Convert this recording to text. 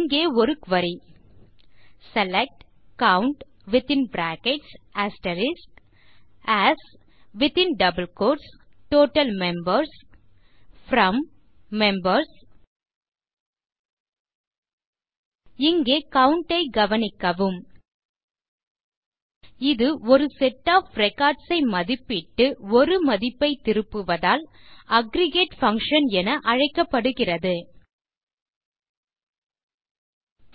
இங்கே ஒரு query select COUNT AS total members from members இங்கே கவுண்ட் ஐ கவனிக்கவும் இது ஒரு செட் ஒஃப் ரெக்கார்ட்ஸ் ஐ மதிப்பிட்டு ஒரு மதிப்பை திருப்புவதால் அக்ரிகேட் பங்ஷன் என அழைக்கப்படுகிறது